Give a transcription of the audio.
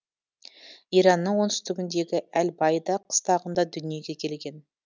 иранның оңтүстігіндегі әл байда қыстағында дүниеге келген